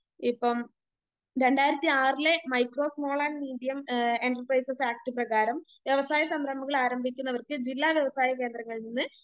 ഇപ്പം രണ്ടായിരത്തി ആറിലെ micro small and medium enterprises act പ്രകാരം വ്യവസായ സംരംഭങ്ങൾ ആരംഭിക്കുന്നവർക്ക് ജില്ലാ വ്യവസായ കേന്ദ്രങ്ങളിൽ നിന്ന്